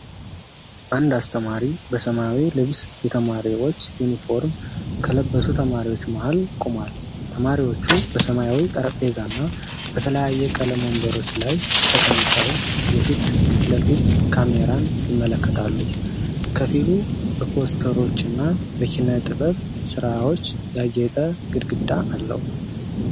አንድ አስተማሪ በሰማያዊ ልብስ የተማሪዎች ዩኒፎርም ከለበሱ ተማሪዎች መሀል ቆሟል። ተማሪዎቹ በሰማያዊ ጠረጴዛና በተለያየ ቀለም ወንበሮች ላይ ተቀምጠው የፊት ለፊት ካሜራን ይመለከታሉ፤ ክፍሉ በፖስተሮችና በኪነ ጥበብ ሥራዎች ያጌጠ ግድግዳ አለው።